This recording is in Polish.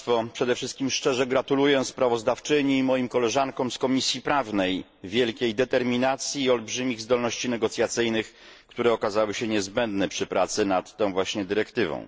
Przede wszystkim szczerze gratuluję sprawozdawczyni i moim koleżankom z Komisji Prawnej wielkiej determinacji i olbrzymich zdolności negocjacyjnych, które okazały się niezbędne przy pracy nad tą właśnie dyrektywą.